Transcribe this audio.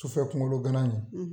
Sufɛ kunkolo gana ɲɛn